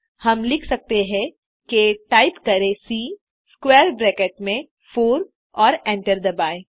हम लिख सकते हैं टाइप करें सी स्क्वैर ब्रैकेट में 4 और एंटर दबाएँ